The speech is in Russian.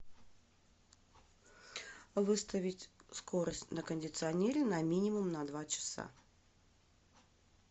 выставить скорость на кондиционере на минимум на два часа